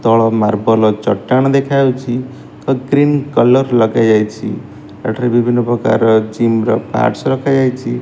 ତଳ ମାର୍ବଲ ଚଟାଣ ଦେଖାଯାଉଛି। ତ ଗ୍ରୀନ କଲର୍ ଲଗାଯାଇଛି। ଏଠାରେ ବିଭିନ୍ନ ପ୍ରକାରର ଜୀମ ର ପାର୍ଟସ ରଖାଯାଇଛି।